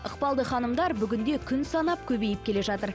ықпалды ханымдар бүгінде күн санап көбейіп келе жатыр